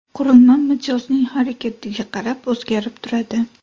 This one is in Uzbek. Qurilma mijozning harakatiga qarab o‘zgarib turadi.